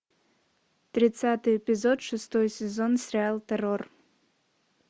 тридцатый эпизод шестой сезон сериал террор